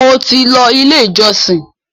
mo tí ló ilé ìjósìn.